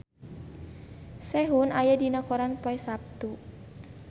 Sehun aya dina koran poe Saptu